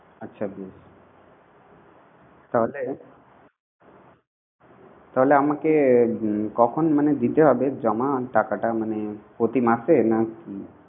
আচ্ছা বেশ তাহলে, তাহলে আমাকে কখন মানে দিতে হবে জমা টাকাটা মানে প্রতি মাসে না কি